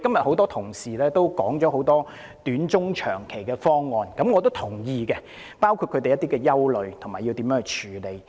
很多同事今天提出了很多短中長期的方案、他們的憂慮，以及須如何處理，我也是贊同的。